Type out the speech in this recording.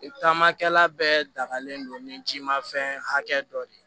Taamakɛla bɛɛ dagalen don ni jimafɛn hakɛ dɔ de